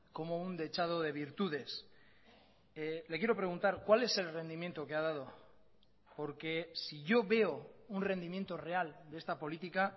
como un dechado de virtudes le quiero preguntar cuál es el rendimiento que ha dado porque si yo veo un rendimiento real de esta política